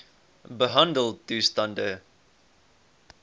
behandeltoestande